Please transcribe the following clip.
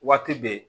Waati bɛɛ